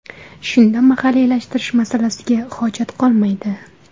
Shunda mahalliylashtirish masalasiga hojat qolmaydi.